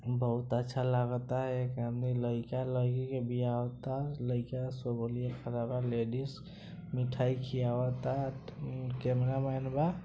बहुत अच्छा लागता एक आदमी लइका-लईकी बियाह होता लइका लेडीज मिठाई खियावता कैमरामैन बा।